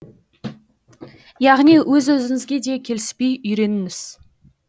яғни өз өзіңізге де келіспей үйреніңіз